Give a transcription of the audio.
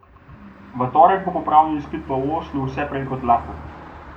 V torek bo popravni izpit v Oslu vse prej kot lahek.